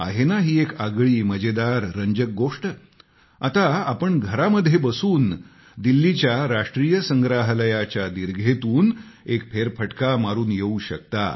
आहे ना ही एक आगळी मजेदार रंजक गोष्ट आता तुम्ही घरामध्ये बसून दिल्लीच्या राष्ट्रीय संग्रहालयाच्या दीर्घेतून एक फेरफटका मारून येऊ शकता